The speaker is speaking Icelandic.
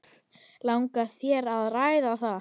Langar þér að ræða það?